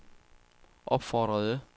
opfordrede